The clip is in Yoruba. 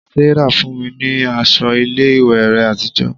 Sarah fún mi ní aṣọ ilé ìwé rẹ̀ àtijọ́